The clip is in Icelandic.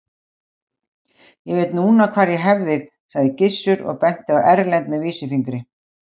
Ég veit núna hvar ég hef þig, sagði Gizur og benti á Erlend með vísifingri.